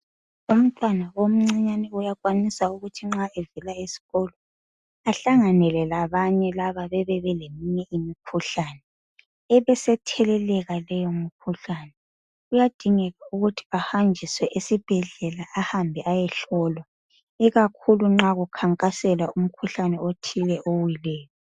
Umntwana omncinyane uyakwanisa ukuthi nxa evela esikolo ahlanganele labanye laba bebe beleminye imikhuhlane. Ebesetheleleka leyo mikhuhlane. Kuyadingeka ukuthi ahanjiswe esibhedlela ahambe ayehlolwa ikakhulu nxa kukankaselwa umkhuhlane othile owileyo.